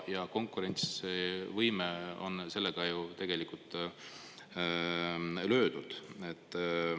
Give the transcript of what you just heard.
Ja konkurentsivõime on sellega ju tegelikult löödud.